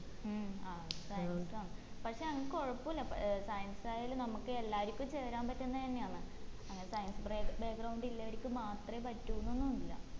ഉം അഹ് അത് science ആണ് പക്ഷെ അത് കോഴപ്പുല്ല ഏർ science ആയാലും നമ്മക്ക് എല്ലാരിക്കും ചേരാൻ പറ്റുന്നെന്നേ അന്ന് അങ്ങനെ science back ഇല്ലവരിക്ക് മാത്രേ പറ്റൂന്നൊന്നുല്ല